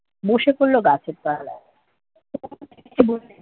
বসে পড়লো গাছের তলায়